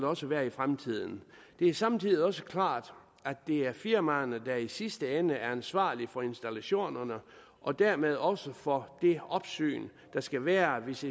også være i fremtiden det er samtidig også klart at det er firmaerne der i sidste ende er ansvarlige for installationerne og dermed også for det opsyn der skal være hvis